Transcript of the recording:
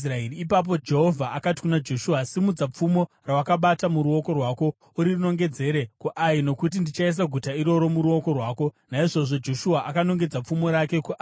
Ipapo Jehovha akati kuna Joshua, “Simudza pfumo rawakabata muruoko rwako urinongedzere kuAi, nokuti ndichaisa guta iri muruoko rwako.” Naizvozvo Joshua akanongedzera pfumo rake kuAi.